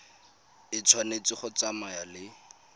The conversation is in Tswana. e tshwanetse go tsamaya le